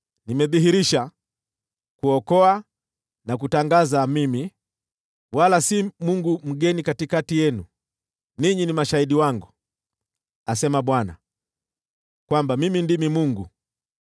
Nimedhihirisha, kuokoa na kutangaza: Mimi, wala si mungu mgeni katikati yenu. Ninyi ni mashahidi wangu,” asema Bwana , “kwamba Mimi ndimi Mungu.